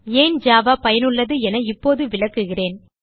ஏன் ஜாவா பயனுள்ளது என இப்போது விளக்குகிறேன்